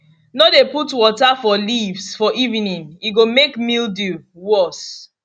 no dey put water for leaves for evening e go make mildew worse